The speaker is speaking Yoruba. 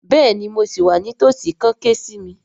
Bẹ́ẹ̀ni mo sì wà ní tòsí kàn ké sí mi